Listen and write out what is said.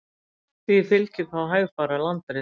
Því fylgir þá hægfara landris.